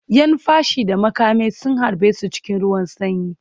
‘Yan fashi da makami sun harbe su cikin ruwan sanyi